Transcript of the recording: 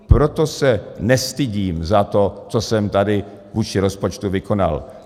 Proto se nestydím za to, co jsem tady vůči rozpočtu vykonal.